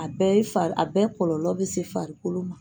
A bɛɛ ye fari a bɛɛ kɔlɔ bɛ se farikolo ma.